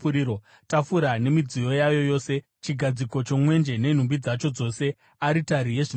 tafura nemidziyo yayo yose, chigadziko chomwenje nenhumbi dzacho dzose, aritari yezvinonhuhwira,